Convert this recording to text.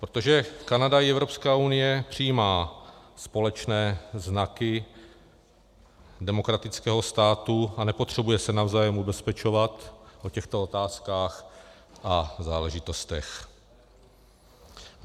Protože Kanada i Evropská unie přijímají společné znaky demokratického státu a nepotřebují se navzájem ubezpečovat o těchto otázkách a záležitostech.